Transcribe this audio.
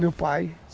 Meu pai.